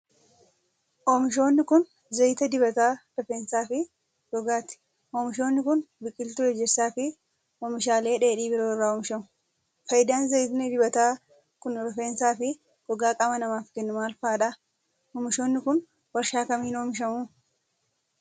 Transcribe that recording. Oomishoonni kun, zayita dibataa rifeensaa fi gogaati. Oomishoonni kun, biqiltuu ejersaa fi oomishaalee dheedhii biroo irraa oomishamu. Faayidaan zayitni dibataa kun, rifeensaa fi gogaa qaama namaaf kennu maal faa dha? Oomishoonni kun, warshaa kamiin oomishamu?